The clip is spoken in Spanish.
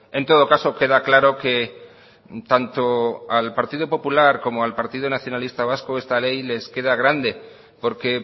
en todo caso queda claro que tanto al partido popular como al partido nacionalista vasco esta ley les queda grande porque